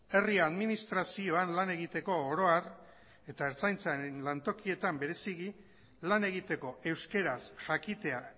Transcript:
herri administrazioan lan egiteko oro har eta ertzaintzaren lantokietan bereziki lan egiteko euskaraz jakitea